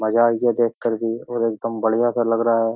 मजा आ गया देख करके और एकदम बढ़िया-सा लग रहा है।